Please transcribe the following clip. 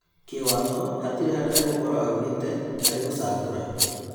Kĩwatho hatirĩ handũ egũkorwo aunĩte harĩĩ gũcagũra.